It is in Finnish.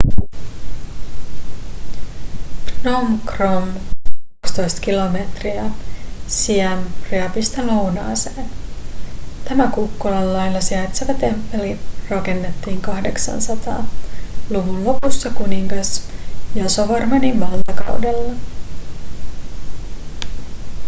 phnom krom 12 km siem reapista lounaaseen tämä kukkulan laella sijaitseva temppeli rakennettiin 800-luvun lopussa kuningas yasovarmanin valtakaudella